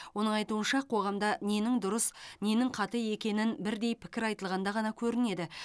оның айтуынша қоғамда ненің дұрыс ненің қате екенін бірдей пікір айтылғанда ғана көрінеді